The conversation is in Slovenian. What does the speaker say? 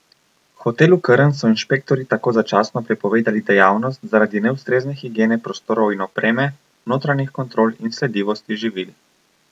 Hotelu Krn so inšpektorji tako začasno prepovedali dejavnost zaradi neustrezne higiene prostorov in opreme, notranjih kontrol in sledljivosti živil.